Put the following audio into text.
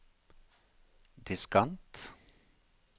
diskant